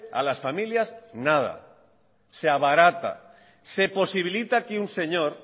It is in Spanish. a las familias nada se abarata se posibilita que un señor